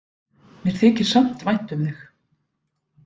Mér þykir samt vænt um þig.